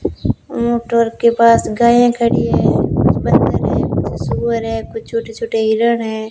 Motor के पास गायें खड़ी हैं कुछ बंदर हैं कुछ सूअर है कुछ छोटे-छोटे हिरन हैं।